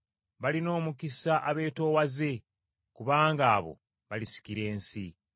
Balina omukisa abeetoowaze, kubanga abo balisikira ensi.